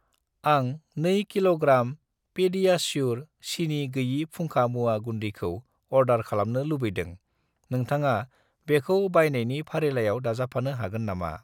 आं 2 कि.ग्रा. पेडियाश्युर सिनि गोयि फुंखा मुवा गुन्दैखौ अर्दार खालामनो लुबैदों, नोंथाङा बेखौ बायनायनि फारिलाइयाव दाजाबफानो हागोन नामा?